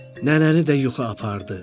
Nənəni də yuxu apardı.